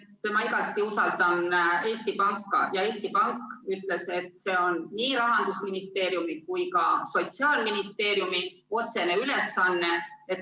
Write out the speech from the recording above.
Ma usaldan igati Eesti Panka ja Eesti Pank ütles, et see on nii Rahandusministeeriumi kui ka Sotsiaalministeeriumi otsene ülesanne.